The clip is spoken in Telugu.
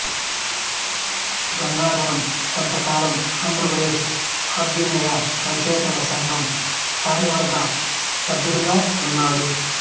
గంగాధరం కొంతకాలం ఆంధ్రప్రదేశ్ అభ్యుదయ రచయితల సంఘం కార్యవర్గ సభ్యుడిగా ఉన్నాడు